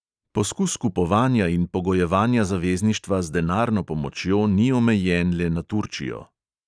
Poskus kupovanja in pogojevanja zavezništva z denarno pomočjo ni omejen le na turčijo.